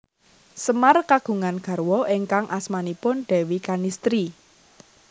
Semar kagungan garwa ingkang asmanipun Déwi Kanistri